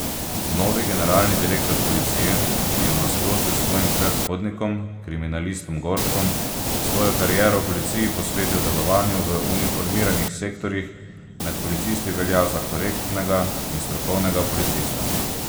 Novi generalni direktor policije, ki je v nasprotju s svojim predhodnikom, kriminalistom Gorškom, svojo kariero v policiji posvetil delovanju v uniformiranih sektorjih, med policisti velja za korektnega in strokovnega policista.